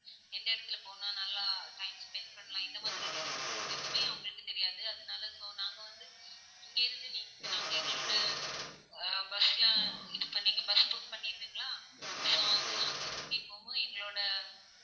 எந்த இடத்துல போனா நல்லா time spend பண்ணலாம்? இந்த மாதிரி எதுவுமே உங்களுக்கு தெரியாது. அதனால so நாங்க வந்து இங்க இருந்து நீங்க~நாங்க எங்களோட ஹம் bus லாம் இது பண்ணி நீங்க bus book பண்ணிருவீங்களா? so வந்து அங்க கூட்டிட்டு போகும்போது எங்களோட